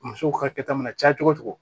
Musow ka kɛta mana caya cogo o cogo